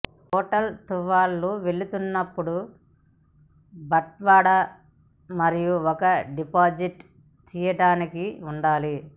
hotel తువ్వాళ్లు వెళ్తున్నప్పుడు బట్వాడా మరియు ఒక డిపాజిట్ తీయటానికి ఉండాలి